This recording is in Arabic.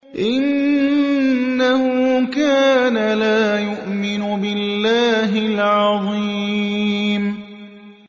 إِنَّهُ كَانَ لَا يُؤْمِنُ بِاللَّهِ الْعَظِيمِ